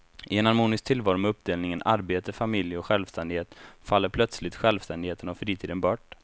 I en harmonisk tillvaro med uppdelningen arbete, familj och självständighet faller plötsligt självständigheten och fritiden bort.